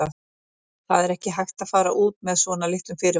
Það er ekki hægt að fara út með svona litlum fyrirvara.